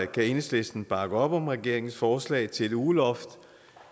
kan enhedslisten bakke op om regeringens forslag til et ugeloft